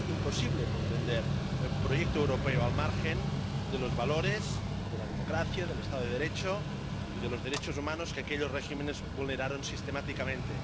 Es imposible comprender el proyecto europeo al margen de los valores de la democracia, del Estado de Derecho y de los derechos humanos que aquellos regímenes vulneraron sistemáticamente.